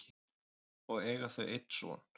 og eiga þau einn son.